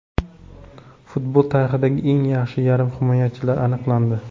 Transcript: Futbol tarixidagi eng yaxshi yarim himoyachilar aniqlandi.